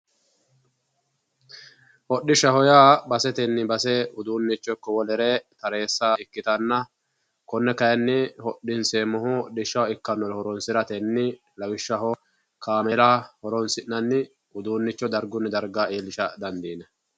hodhishshaho yaa udunnicho basetenni base eessa ikkitanna konne kayi hodhinseemmohu hodhishshaho ikkannore horoonsi'nanni lawishshaho kaamela horonsiratenni uduunnicho dargunni daraga iillishsha dandiinanni